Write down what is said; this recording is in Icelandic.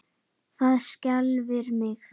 Það skelfir mig.